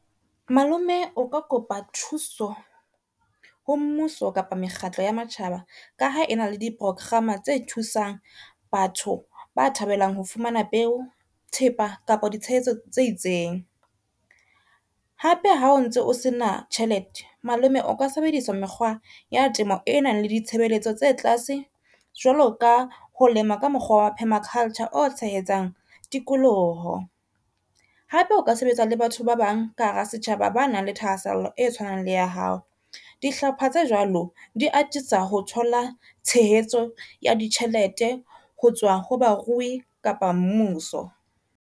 Malome o ka kopa thuso ho mmuso kapa mekgatlo ya matjhaba, ka ha e na le di porokgama tse thusang batho ba thabelang ho fumana peo, thepa kapa ditshehetso tse itseng. Hape ha o ntse o se na tjhelete malome o ka sebedisa mekgwa ya temo e nang le ditshebeletso tse tlase, jwalo ka ho lema ka mokgwa wa permaculture o tshehetsang tikoloho. Hape o ka sebetsa le batho ba bang ka hara setjhaba, ba nang le thahasello e tshwanang le ya hao. Dihlopha tse jwalo di atisa ho thola tshehetso ya ditjhelete ho tswa ho barui kapa mmuso.